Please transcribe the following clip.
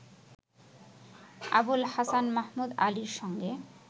আবুল হাসান মাহমুদ আলীর সঙ্গে